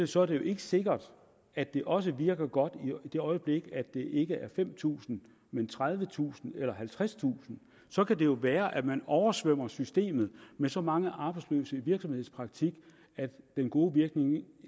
så er det jo ikke sikkert at det også virker godt i det øjeblik det ikke er fem tusind men tredivetusind eller halvtredstusind så kan det jo være at man oversvømmer systemet med så mange arbejdsløse i virksomhedspraktik at den gode virkning